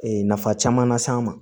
Ee nafa caman las'an ma